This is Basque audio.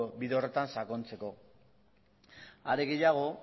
bide horretan sakontzeko are gehiago